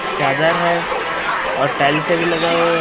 चादर है और टाइलस भी लगा हुआ है।